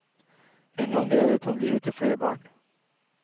En gang reddet han livet til flere barn.